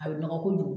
A bɛ nɔgɔ kojugu